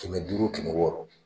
Kɛmɛ duuru kɛmɛ wɔɔrɔ